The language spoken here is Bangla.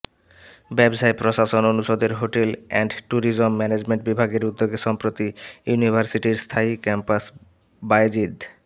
ব্যবসায় প্রশাসন অনুষদের হোটেল অ্যান্ড ট্যুরিজম ম্যানেজমেন্ট বিভাগের উদ্যোগে সম্প্রতি ইউনিভার্সিটির স্থায়ী ক্যাম্পাস বায়েজিদ